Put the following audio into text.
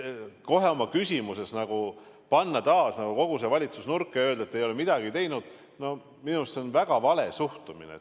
Panna oma küsimuses taas kogu see valitsus nagu nurka ja öelda, et te ei ole midagi teinud – minu arust see on väga vale suhtumine.